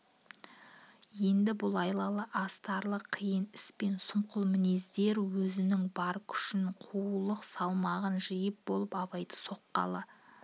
енді бұл айлалы астарлы қиын іс пен сұмқыл мінездер өзінің бар күшін қулық салмағын жиып болып абайды соққалы